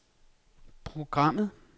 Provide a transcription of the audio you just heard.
programmet